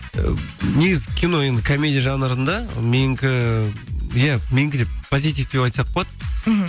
негізі кино енді комедия жанрында менікі иә менікі де позитивті деп айтсақ болады мхм